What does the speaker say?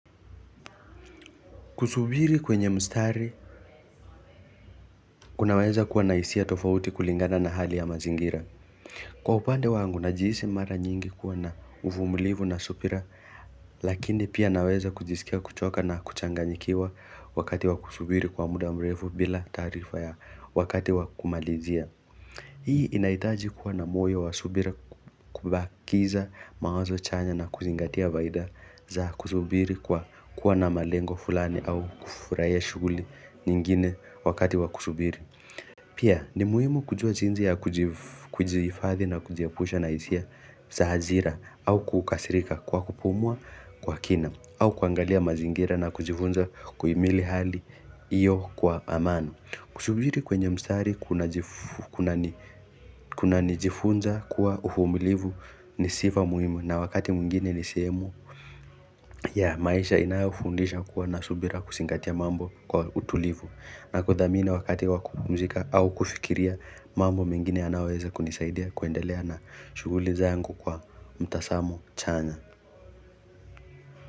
Kusubiri kwenye mstari, kunaweza kuwa na hisia tofauti kulingana na hali ya mazingira. Kwa upande wangu, najihisi mara nyingi kuwa na uvumilivu na subira, lakini pia naweza kujisikia kuchoka na kuchanganyikiwa wakati wa kusubiri kwa muda mrefu bila taarifa ya wakati wa kumalizia. Hii inahitaji kuwa na moyo wa subira kubakiza mawazo chanya na kuzingatia faida za kusubiri kwa kuwa na malengo fulani au kufurahia shughuli nyingine wakati wa kusubiri. Pia ni muhimu kujua jinsi ya kujihifadhi na kujiepusha na hisia za hasira au kukasirika kwa kupumua kwa kina au kuangalia mazingira na kujifunza kuimili hali hiyo kwa amani. Kusubiri kwenye msitari kunanijifunza kuwa uvumilivu ni sifa muhimu na wakati mwingine ni sehemu ya maisha inayofundisha kuwa na subira kusingatia mambo kwa utulivu na kudhamini wakati wa kupumuzika au kufikiria mambo mengine yanayoweza kunisaidia kwendelea na shughuli zangu kwa mtasamo chanya.